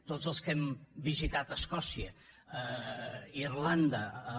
tots els que hem visitat escòcia irlanda amb